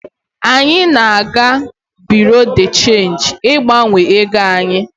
Anyị na-aga bureau de change ịgbanwe ego anyị.